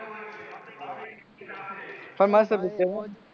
પણ મસ્ત picture હે